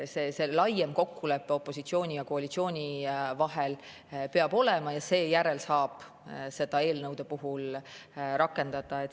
Peab oleme laiem kokkulepe opositsiooni ja koalitsiooni vahel, seejärel saab seda eelnõude puhul rakendada.